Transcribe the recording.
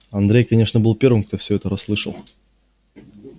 андрей конечно был первым кто все это расслышал